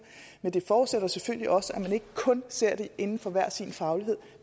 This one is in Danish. men det forudsætter selvfølgelig også at man ikke kun ser det inden for hver sin faglighed